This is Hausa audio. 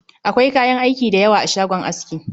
Akwai kayan aiki da yawa a shagon aski